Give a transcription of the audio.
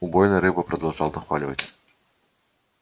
убойная рыба продолжал нахваливать